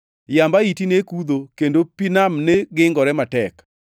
Yamb ahiti ne kudho, kendo pi nam ne gingore matek.